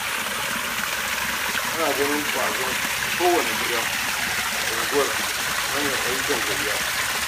Ana ganin ƙwazon kowane gida a unguwa ta hanyar ayyukan gayya.